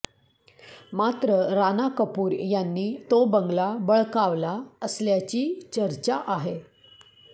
मात्र राणा कपूर यांनी तो बंगला बळकावला असल्याची चर्चा आहे